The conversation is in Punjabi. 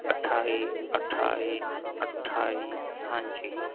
ਅਠਾਈ ਅਠਾਈ ਅਠਾਈ ਹਾਂਜੀ